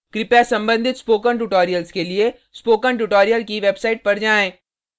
कृपया संबंधित spoken tutorials के लिए स्पोकन ट्यूटोरियल की वेबसाइट पर जाएँ